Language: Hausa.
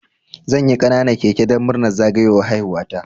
Zanyi ƙananan keke dan murnar zagayowar haihuwa ta